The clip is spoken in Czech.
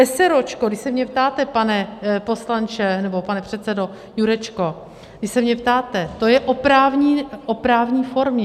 Eseróčko, když se mě ptáte, pane poslanče, nebo pane předsedo Jurečko, když se mě ptáte, to je o právní formě.